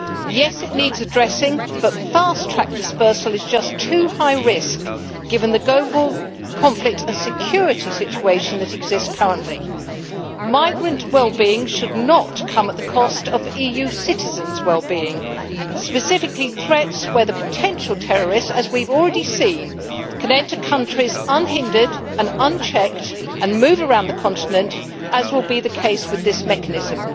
Yes, it needs addressing, but fast track dispersal is just too high-risk given the global conflict and security situation that exists currently. Migrant well being should not come at the cost of EU citizens' well being, specifically threats where potential terrorists as we have already seen can enter countries unhindered and unchecked and move around the continent, as will be the case with this mechanism.